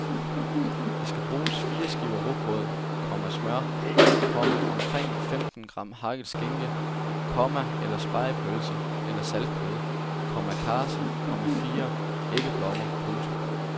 Der skal bruges fire skiver rugbrød, komma smør, komma omkring femten gram hakket skinke , komma eller spegepølse eller saltkød, komma karse, komma fire æggeblommer. punktum